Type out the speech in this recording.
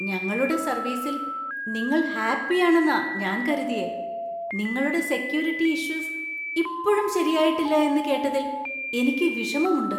ഞങ്ങളുടെ സർവീസിൽ നിങ്ങൾ ഹാപ്പിയാണെന്നാ ഞാൻ കരുതിയെ. നിങ്ങൾടെ സെക്യൂരിറ്റി ഇഷ്യൂസ് ഇപ്പോഴും ശരിയായിട്ടില്ല എന്ന് കേട്ടതിൽ എനിക്ക് വിഷമമുണ്ട്.